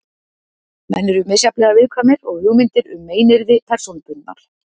Menn eru misjafnlega viðkvæmir og hugmyndir um meiðyrði persónubundnar.